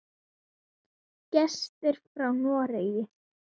Gestir frá Noregi.